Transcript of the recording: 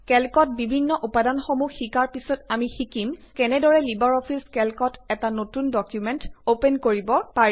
কেল্কৰ বিভিন্ন উপাদানসমূহ শিকাৰ পিছত আমি শিকিম কেনেদৰে লিবাৰ অফিচ কেল্কত এটা নতুন ডকুমেন্ট অপেন কৰিব পাৰি